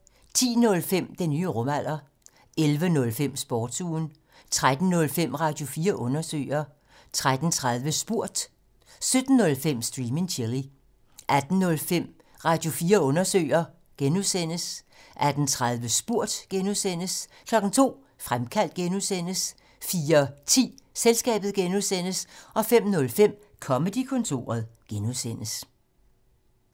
10:05: Den nye rumalder 11:05: Sportsugen 13:05: Radio4 Undersøger 13:30: Spurgt 17:05: Stream and Chill 18:05: Radio4 Undersøger (G) 18:30: Spurgt (G) 02:00: Fremkaldt (G) 04:10: Selskabet (G) 05:05: Comedy-kontoret (G)